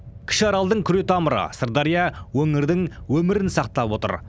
кіші аралдың күретамыры сырдария өңірдің өмірін сақтап отыр